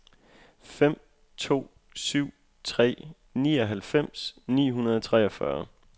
fem to syv tre nioghalvfems ni hundrede og treogfyrre